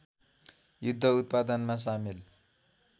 युद्ध उत्पादनमा सामेल